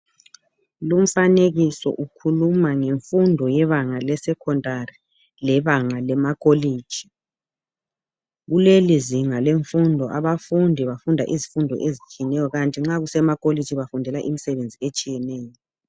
lumfanekiso ukhuluma ngemfundo yebanga le secondary lebanga lema college kulelizinga lemfundo abafundi bafunda izifundo ezitshiyeneyo kukanti nxa kusema college bafundela imisebenzi etshiyeneyo